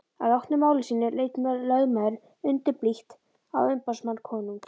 Að loknu máli sínu leit lögmaðurinn undurblítt á umboðsmann konungs.